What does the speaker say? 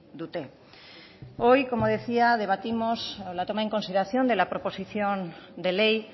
dute hoy como decía debatimos la toma en consideración de la proposición de ley